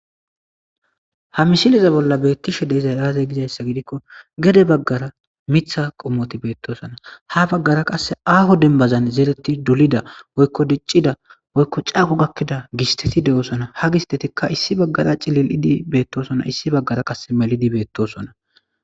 Ha mishiliza bolla beettishe deezay aaze gizayssa gidikko gede baggara mitha qommoti beettosona ha baggara qasse aaho denbazan zeretti dulida woykko diccida woykko caaqo gakkida gisteti de'osona ha gistetikka issi baggara cilil'idi beettosona issi baggara qasse melidi beettosona.